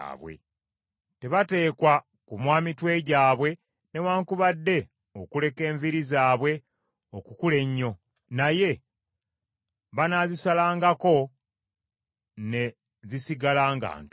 “ ‘Tebateekwa kumwa mitwe gyabwe newaakubadde okuleka enviiri zaabwe okukula ennyo, naye banaazisalangako ne zisigala nga nto.